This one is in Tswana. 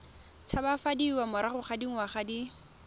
tshabafadiwa morago ga dingwaga di